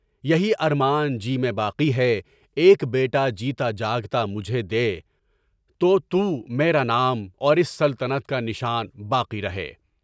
یہی ارمان جی میں باقی ہے، ایک بیٹا جیتا جاگتا مجھے دے تو تو میرا نام اور اس سلطنت کا نشان باقی رہے۔